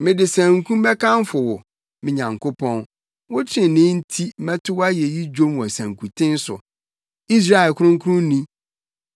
Mede sanku bɛkamfo wo me Nyankopɔn, wo trenee nti mɛto wʼayeyi dwom wɔ sankuten so, Israel Kronkronni.